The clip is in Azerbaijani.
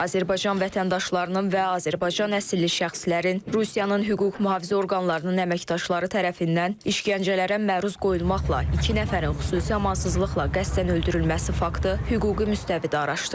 Azərbaycan vətəndaşlarının və Azərbaycan əsilli şəxslərin Rusiyanın hüquq mühafizə orqanlarının əməkdaşları tərəfindən işgəncələrə məruz qoyulmaqla iki nəfərin xüsusi amansızlıqla qəsdən öldürülməsi faktı hüquqi müstəvidə araşdırılır.